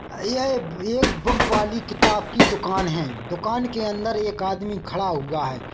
यह एक ये एक बुक वाली किताब की दुकान है दुकान के अंदर एक आदमी खड़ा हुआ है।